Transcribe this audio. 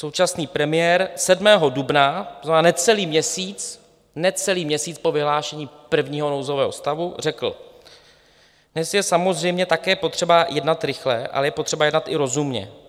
Současný premiér 7. dubna, to znamená necelý měsíc, necelý měsíc po vyhlášení prvního nouzového stavu řekl: Dnes je samozřejmě také potřeba jednat rychle, ale je potřeba jednat i rozumně.